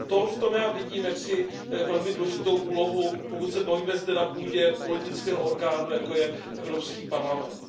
V tom já vidím velmi důležitou úlohu, pokud se bavíme zde na půdě politického orgánu, jako je Evropský parlament.